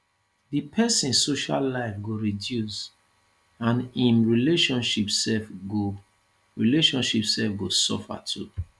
di pesin social life go reduce and im relationship sef go relationship sef go suffer too